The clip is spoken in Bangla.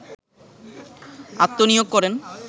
আত্মনিয়োগ করেন